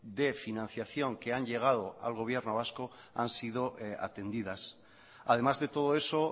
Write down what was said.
de financiación que han llegado al gobierno vasco han sido atendidas además de todo eso